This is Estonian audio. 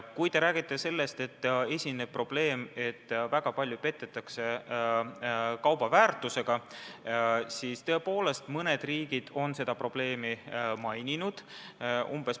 Kui te räägite sellest, et esineb probleem, et väga palju petetakse kauba väärtusega, siis tõepoolest, mõned riigid on seda probleemi maininud.